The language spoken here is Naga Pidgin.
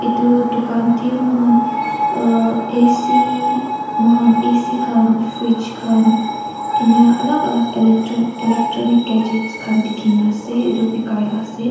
etu dukan teh moikhan aa ac moikhan A_C khan fridge khan ena alag alag elec jon electronics gadget khan dikhi na ase etu bikai lah ase.